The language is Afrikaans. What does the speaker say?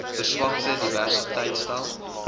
verswakte diversiteit stel